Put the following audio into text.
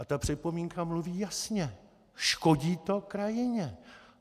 A ta připomínka rozumí jasně - škodí to krajině.